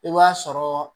I b'a sɔrɔ